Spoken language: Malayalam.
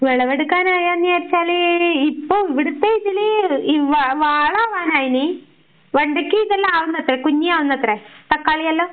വിളവെടുക്കാറായോന്ന് ചോയിച്ചാല് ഇപ്പോം ഇവിടുത്തെ ഇതില് ഈ വാ വാള ആവനായീന്. വെണ്ടക്ക ഇതെല്ലാം ആവുന്നത്രേ, കുഞ്ഞാവുന്നത്രെ തക്കാളിയെല്ലാം